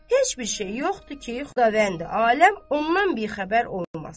Heç bir şey yoxdur ki, Xudavəndi Aləm ondan bixəbər olmasın.